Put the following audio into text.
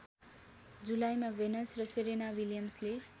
जुलाईमा भेनस र सेरेना विलियम्सले